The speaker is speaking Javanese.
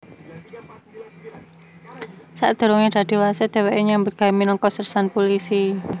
Sadurungé dadi wasit dhèwèké nyambut gawé minangka sersan pulisi